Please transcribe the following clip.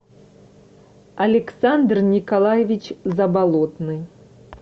александр николаевич заболотный